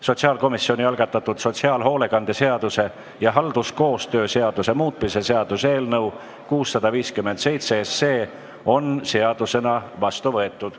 Sotsiaalkomisjoni algatatud sotsiaalhoolekande seaduse ja halduskoostöö seaduse muutmise seaduse eelnõu 657 on seadusena vastu võetud.